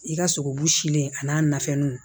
I ka sogobu silen a n'a nafɛnnu